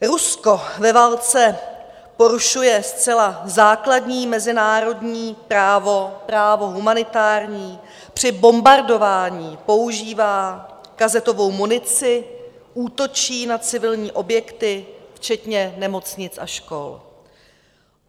Rusko ve válce porušuje zcela základní mezinárodní právo, právo humanitární, při bombardování používá kazetovou munici, útočí na civilní objekty včetně nemocnic a škol.